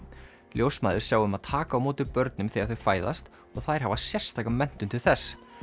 ljósmæður sjá um að taka á móti börnum þegar þau fæðast og þær hafa sérstaka menntun til þess